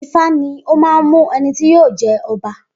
Ifá ní ọ man mú ẹnití yíò jẹ ọba